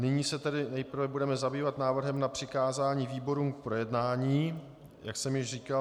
Nyní se tedy nejprve budeme zabývat návrhem na přikázání výborům k projednání, jak jsem již říkal.